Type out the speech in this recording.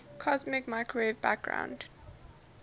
cosmic microwave background